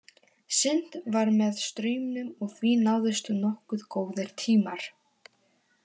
Synt var með straumnum og því náðust nokkuð góðir tímar.